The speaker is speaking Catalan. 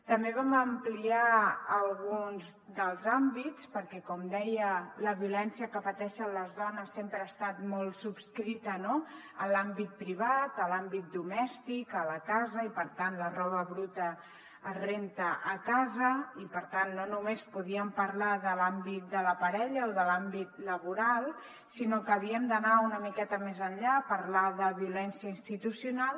també vam ampliar alguns dels àmbits perquè com deia la violència que pateixen les dones sempre ha estat molt subscrita a l’àmbit privat a l’àmbit domèstic a la casa i per tant la roba bruta es renta a casa i per tant no només podríem parlar de l’àmbit de la parella o de l’àmbit laboral sinó que havíem d’anar una miqueta més enllà a parlar de violència institucional